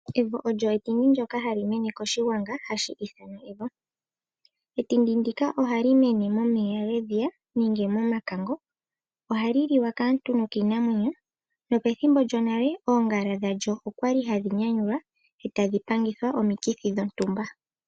Evo olyo etindi ndyoka hali mene koshigwanga hashi ithanwa evo. Endindi ndika ohali mene momeya gedhiya nenge momakango. Ohali liwa kaantu nokiinamwenyo. Nopethimbo lyonale oongala dhalyo okwali hadhi nyanyulwa e tadhi pangithwa omikithi dhontumba.